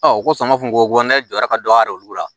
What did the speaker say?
ko fanga kun ko ne jɔra ka dɔ ka re la